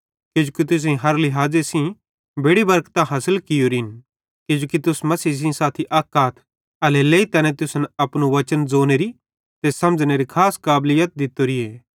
किजोकि तुसेईं हर लिहाज़े सेइं बेड़ि बरकतां हासिल कियोरिन किजोकि तुस मसीह सेइं साथी अक आथ एल्हेरेलेइ तैने तुसन अपनू वचन ज़ोनेरी ते समझ़नेरी खास काबलीत दित्तोरीए